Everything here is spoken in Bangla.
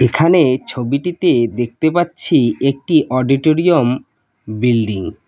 এখানে ছবিটিতে দেখতে পাচ্ছি একটি অডিটোরিয়াম বিল্ডিং ।